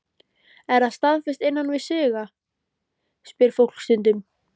Er það staðfest innan sviga? spyr fólk stundum.